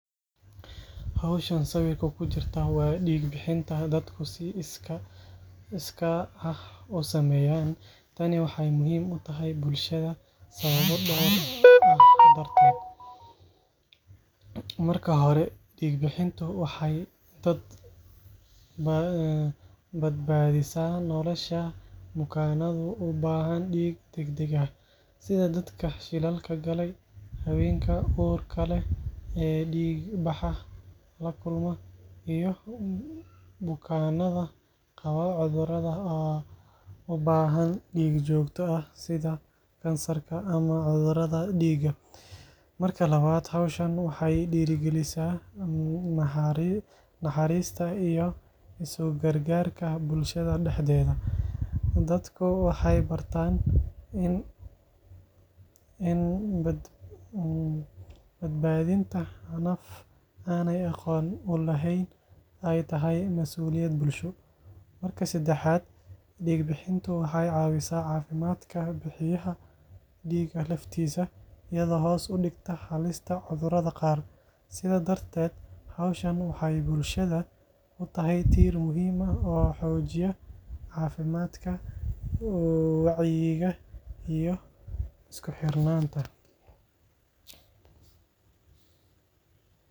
Hawshan sawirka ku jirta waa dhiig-bixinta dadku si iskaa ah u sameeyaan. Tani waxay muhiim u tahay bulshada sababo dhowr ah dartood. Marka hore, dhiig-bixintu waxay badbaadisaa nolosha bukaannada u baahan dhiig degdeg ah, sida dadka shilalka galay, haweenka uurka leh ee dhiigbaxa la kulma, iyo bukaannada qaba cudurrada u baahan dhiig joogto ah sida kansarka ama cudurrada dhiigga. Marka labaad, hawshan waxay dhiirrigelisaa naxariista iyo isu-gargaarka bulshada dhexdeeda. Dadku waxay bartaan in badbaadinta naf aanay aqoon u lahayn ay tahay mas’uuliyad bulsho. Marka saddexaad, dhiig-bixintu waxay caawisaa caafimaadka bixiyaha dhiigga laftiisa, iyadoo hoos u dhigta halista cudurrada qaar. Sidaas darteed, hawshan waxay bulshada u tahay tiir muhiim ah oo xoojiya caafimaadka, wacyiga iyo isku-xirnaanta.